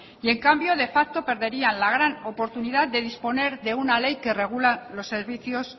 y en cambio de facto perderían la gran oportunidad de disponer de una ley que regula los servicios